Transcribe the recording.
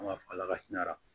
An b'a fɔ ala ka hinɛ